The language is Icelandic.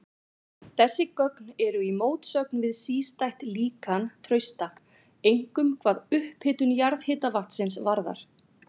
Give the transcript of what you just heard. Þessi gögn eru í mótsögn við sístætt líkan Trausta, einkum hvað upphitun jarðhitavatnsins varðar.